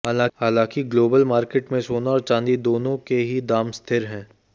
हालांकि global market में सोना और चांदी दोनों के ही दाम स्थिर रहे